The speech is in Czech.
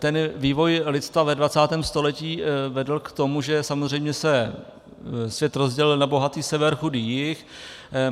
Ten vývoj lidstva ve 20. století vedl k tomu, že samozřejmě se svět rozdělil na bohatý sever, chudý jih.